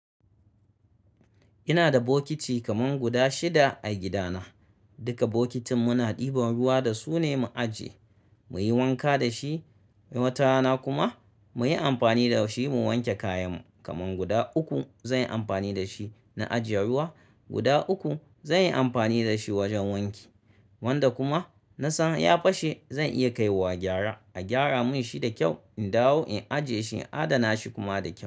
Ina da bokiti kaman guda shida a gidana. Duka bokitin muna ɗiban ruwa da su ne mu ajiye, muyi wanka da shi. Watarana kuma muyi amfani da shi mu wanke kayan mu. Kaman guda uku zanyi amfani da shi na ajiye ruwa, guda uku zanyi amfani da shi wajen wanki. Wanda kuma na san ya fashe zan iya kaiwa gyara, a gyara mun shi da kyau, in dawo in ajiye shi, in adana shi kuma da kyau.